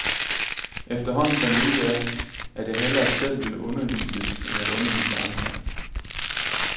Efterhånden fandt jeg ud af, at jeg hellere selv ville undervises end at undervise andre.